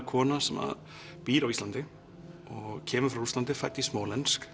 kona sem að býr á Íslandi og kemur frá Rússlandi fædd í